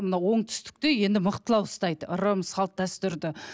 мынау оңтүстікте енді мықтылау ұстайды ырым салт дәстүрді